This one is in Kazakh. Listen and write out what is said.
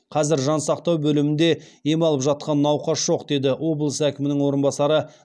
қазір жансақтау бөлімінде ем алып жатқан науқас жоқ деді облыс әкімінің орынбасары